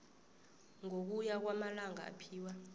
ngokuya kwamalanga aphiwa